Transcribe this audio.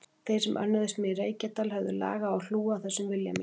Þeir sem önnuðust mig í Reykjadal höfðu lag á að hlúa að þessum vilja mínum.